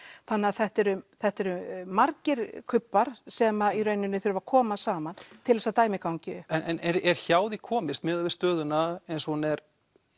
þannig að þetta eru þetta eru margir kubbar sem í rauninni þurfa að koma saman til þess að dæmið gangi upp en er hjá því komist miðað við stöðuna eins og hún er